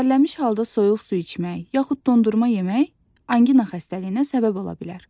Tərləmiş halda soyuq su içmək, yaxud dondurma yemək anqina xəstəliyinə səbəb ola bilər.